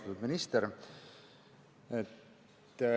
Austatud minister!